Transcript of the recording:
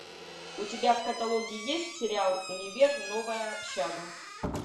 у тебя в каталоге есть сериал универ новая общага